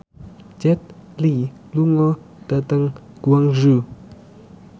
Jet Li lunga dhateng Guangzhou